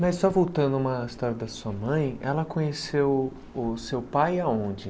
Mas só voltando a uma história da sua mãe, ela conheceu o seu pai aonde?